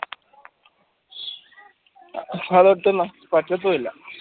അതോട്ടു പറ്റത്തില്ല